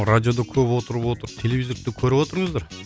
радиода көп отырып отырып телевизорды да көріп отырыңыздар